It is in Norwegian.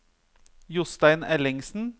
Jostein Ellingsen